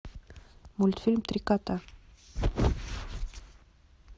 мультфильм три кота